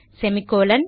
semicolon